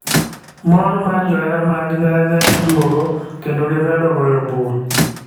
Mor mar johera mag nyanya duogo ,kendo gimedo goyo bul.